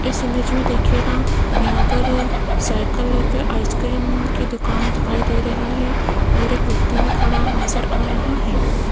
इस इमेज में देखिएगा यहां पर साइकल पर आइसक्रीम की दुकान दिखाई दे रही है और एक व्यक्ति भी खड़ा नजर आ रहा है।